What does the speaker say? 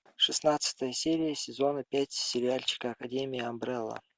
шестнадцатая серия сезона пять сериальчика академия амбрелла